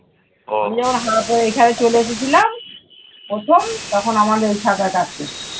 আমি যখন হয়ে এখানে চলে এসেছিলাম প্রথম তখন আমার কাছে ছাতার কাজ শিখতো।